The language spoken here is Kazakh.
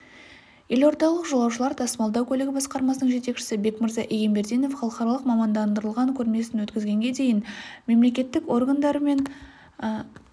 елордалық жолаушылар тасымалдау көлігі басқармасының жетекшісі бекмырза егенбердинов халықаралық мамандандырылған көрмесін өкізгенге дейін мемлекеттік органдар мен